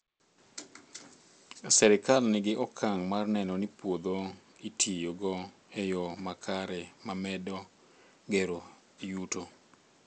Serikal nigi okang' mar neno ni puodho itiyo go e yo makare ma medo gero yuto